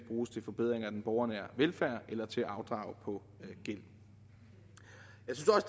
bruges til forbedringer af den borgernære velfærd eller til at afdrage på gæld